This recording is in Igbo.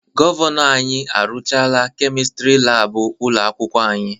Gọvanọ anyị arụchaala Kemịstịrị laabụ ụlọ akwụkwọ anyị.